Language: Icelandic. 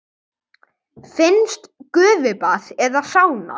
Finnskt gufubað eða sána.